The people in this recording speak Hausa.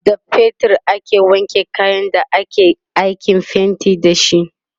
da fetir aka wanke kayan da akayi aikin fainti da shi